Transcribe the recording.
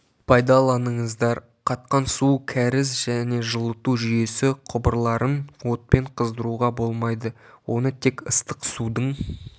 пайдаланыңыздар қатқан су кәріз және жылыту жүйесі құбырларын отпен қыздыруға болмайды оны тек ыстық судың